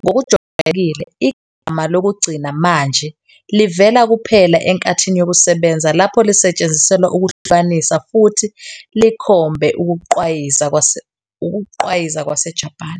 ngokujwayelekile, igama lokugcina manje livela kuphela enkathini yokusebenza lapho lisetshenziselwa ukuhlukanisa futhi likhombe ukugqwayiza kwaseJapan.